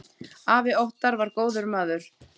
Afi Óttar var góður maður.